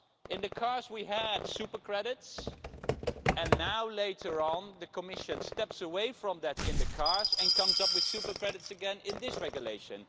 In the cars we had super credits and now, later on, the Commission is stepping away from that in cars and comes up with super credits again in this Regulation.